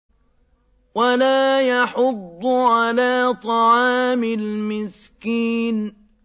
وَلَا يَحُضُّ عَلَىٰ طَعَامِ الْمِسْكِينِ